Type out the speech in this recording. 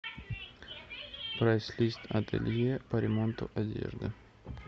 прайс лист ателье по ремонту одежды